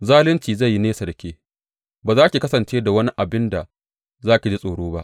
Zalunci zai yi nesa da ke; ba za ki kasance da wani abin da za ki ji tsoro ba.